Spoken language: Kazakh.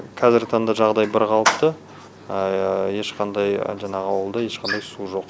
қазіргі таңда жағдай бірқалыпты ешқандай жаңағы ауылда ешқандай су жоқ